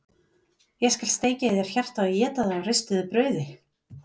Ég skal steikja í þér hjartað og éta það á ristuðu brauði!